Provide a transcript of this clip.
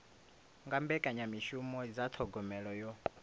nga mbekanyamishumo dza thogomelo yo